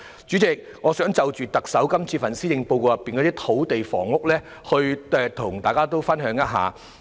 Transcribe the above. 主席，我想就這份施政報告中的土地房屋政策，與大家分享我的看法。